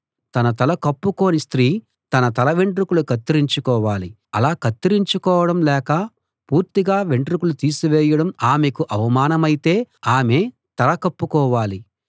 తన తల కప్పుకోని స్త్రీ తన తలవెంట్రుకలు కత్తిరించుకోవాలి అలా కత్తిరించుకోవడం లేక పూర్తిగా వెంట్రుకలు తీసివేయడం ఆమెకు అవమానమైతే ఆమె తల కప్పుకోవాలి